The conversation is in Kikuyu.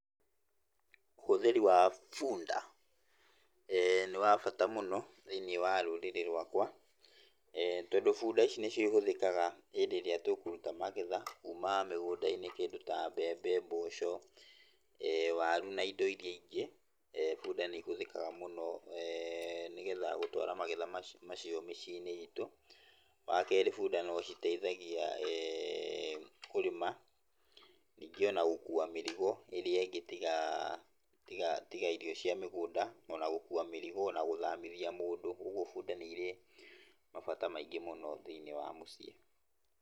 Ũhũthĩri wa bunda nĩ wabata mũno thĩiniĩ wa rũrĩrĩ rwakwa, tondũ bunda ici nĩcio ihũthĩkaga hĩndĩ ĩrĩa tũkũruta magetha kuma mũgũnda-inĩ kĩndũ ta mbembe, mboco, waru na indo iria ingĩ, bunda nĩihũthĩkaga mũno nĩgetha gũtwara magetha macio mĩciĩ-inĩ itũ. Wakerĩ bũnda no citeithagia kũrĩma, ningĩ ona gũkua mĩrigo ĩrĩa ĩngĩ tigaa tiga tiga irio cia mĩgũnda, na ona gũkua mĩrigo, na gũthamithia mũndũ, ũguo bunda nĩ irĩ mabata maingĩ mũno thĩiniĩ wa mũciĩ.